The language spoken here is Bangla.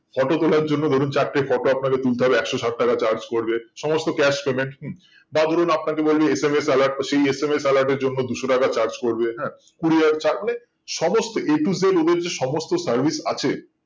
photo তোলার জন্য ধরুন চারটে photo আপনাকে তুলতে হবে একশো ষাট টাকা charge পরবে সমস্ত cash payment হুম তা ধরুন আপনাকে বলি SMS alert এর জন্য দুশো টাকা charge পরবে হ্যাঁ courier charge মানে সমস্ত a to z ওদের যে সমস্ত service আছে